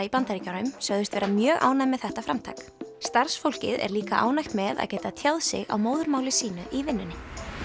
í Bandaríkjunum sögðust vera mjög ánægð með þetta framtak starfsfólkið er líka ánægt með að geta tjáð sig á móðurmáli sínu í vinnunni